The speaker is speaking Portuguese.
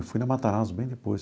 Eu fui na Matarazzo bem depois.